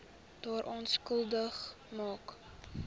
daaraan skuldig maak